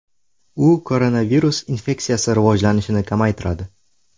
U koronavirus infeksiyasi rivojlanishini kamaytiradi.